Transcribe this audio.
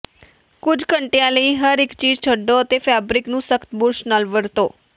ਕੁਝ ਘੰਟਿਆਂ ਲਈ ਹਰ ਚੀਜ਼ ਛੱਡੋ ਅਤੇ ਫੈਬਰਿਕ ਨੂੰ ਸਖ਼ਤ ਬੁਰਸ਼ ਨਾਲ ਵਰਤੋ